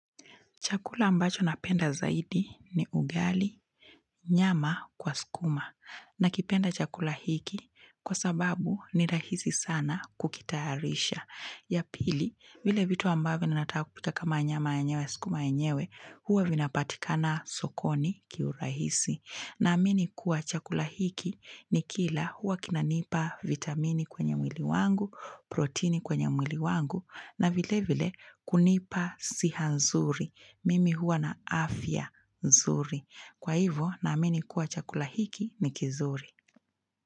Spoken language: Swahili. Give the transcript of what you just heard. Chakula ambacho napenda zaidi ni ugali nyama kwa sukuma nakipenda chakula hiki kwa sababu ni rahisi sana kukitayarisha. Ya pili, vile vitu ambavyo natafuta kama nyama yenyewe sukuma yenyewe huwa vinapatika na sokoni kiurahisi. Naamini kuwa chakula hiki nikila huwa kinanipa vitamini kwenye mwili wangu, protini kwenye mwili wangu na vile vile kunipa siha nzuri. Mimi huwa na afya nzuri. Kwa hivyo naamini kuwa chakula hiki ni kizuri.